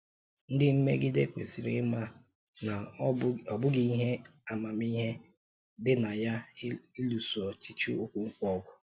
Ndị mmegide kwesịrị ịma na ọ bụghị ihe amamihe dị na ya ịlụso ọchịchị Okonkwo ọgụ.